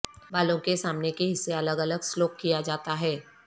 بالوں کے سامنے کے حصے الگ الگ سلوک کیا جاتا ہے